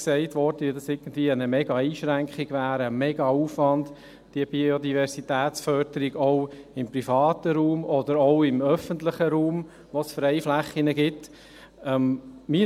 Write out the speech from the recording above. Es wurde jetzt in vielen Voten gesagt, dass diese Biodiversitätsförderung auch im privaten Raum oder auch im öffentlichen Raum, wo es Freiflächen gibt, irgendwie eine riesige Einschränkung wäre und ein riesiger Aufwand.